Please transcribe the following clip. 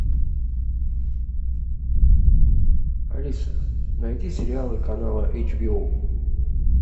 алиса найди сериалы канала эйч би о